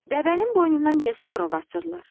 Dəvənin boynundan niyə zınqrov asırlar?